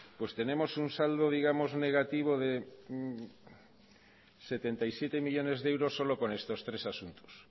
pues tenemos un saldo digamos negativo de setenta y siete millónes de euros solo con estos tres asuntos